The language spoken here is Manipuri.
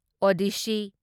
ꯑꯣꯗꯤꯁꯁꯤ